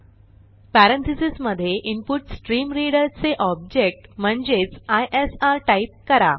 parentheses मधे input stream reader चे object म्हणजेच isrटाईप करा